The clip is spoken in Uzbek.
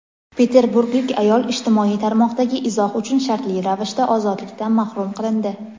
Peterburglik ayol ijtimoiy tarmoqdagi izoh uchun shartli ravishda ozodlikdan mahrum qilindi.